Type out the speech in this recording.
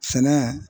Sɛnɛ